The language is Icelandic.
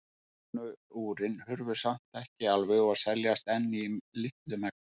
Vélknúnu úrin hurfu samt ekki alveg og seljast enn í litlu magni.